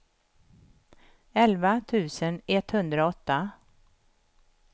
elva tusen etthundraåtta